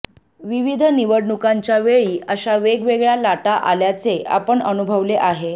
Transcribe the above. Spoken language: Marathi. विविध निवडणुकांच्या वेळी अशा वेगवेगळ्या लाटा आल्याचे आपण अनुभवले आहे